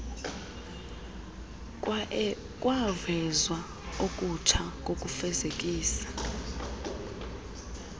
kwavezwa okutsha kokufezekisa